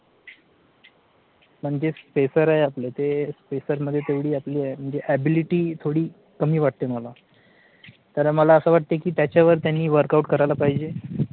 म्हणजे SPACER आहे आपले ते SPACER मध्ये तेवढी आपली म्हणजे ability थोडी कमी वाटते मला, तर मला असं वाटते कि त्याच्यावर त्यांनी WORKOUT करायला पाहिजे.